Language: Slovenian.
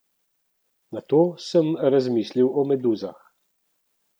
Nato sem razmislil o meduzah.